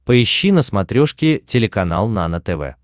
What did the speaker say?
поищи на смотрешке телеканал нано тв